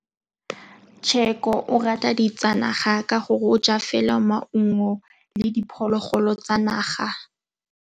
Tshekô o rata ditsanaga ka gore o ja fela maungo le diphologolo tsa naga.